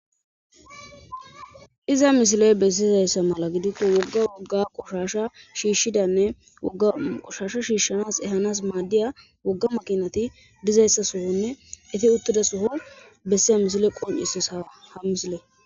iza misiley bessi zayssa mala giditto wogga wogga qushasha shiishshidanne a qushasha shiishshanas ehanas maaddiya wogga makinati dizayssa sohonne efi uttida soho bessea misile qoncisis ha misile